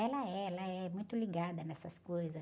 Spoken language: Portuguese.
Ela é, ela é muito ligada nessas coisas.